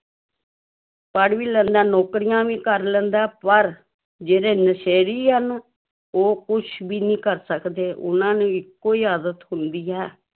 ਪੜ੍ਹ ਵੀ ਲੈਂਦਾ, ਨੌਕਰੀਆਂ ਵੀ ਕਰ ਲੈਂਦਾ ਹੈ, ਪਰ ਜਿਹੜੇ ਨਸ਼ੇੜੀ ਹਨ ਉਹ ਕੁਛ ਵੀ ਨਹੀਂ ਕਰ ਸਕਦੇ ਉਹਨਾਂ ਨੂੰ ਇਕੋ ਹੀ ਆਦਤ ਹੁੰਦੀ ਹੈ,